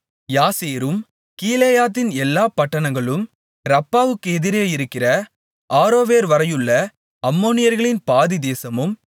யாசேரும் கீலேயாத்தின் எல்லாப் பட்டணங்களும் ரப்பாவுக்கு எதிரே இருக்கிற ஆரோவேர்வரையுள்ள அம்மோனியர்களின் பாதித் தேசமும்